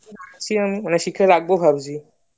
ভাবছি আমি মানে শিখে রাখবো ভাবছি